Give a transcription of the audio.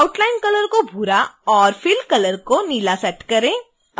outline colour को भूरा और fill colour को नीला सेट करें